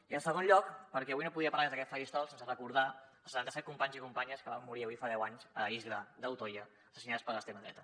i en segon lloc perquè avui no podia parlar des d’aquest faristol sense recor·dar els setanta·set companys i companyes que van morir avui fa deu anys a l’illa d’utoya assassinades per l’extrema dreta